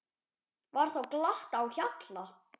Var þá glatt á hjalla.